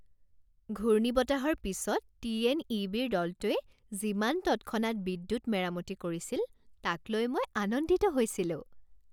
ঘূৰ্ণীবতাহৰ পিছত T N E বিৰ দলটোৱে যিমান তৎক্ষণাৎ বিদ্যুৎ মেৰামতি কৰিছিল তাক লৈ মই আনন্দিত হৈছিলোঁ।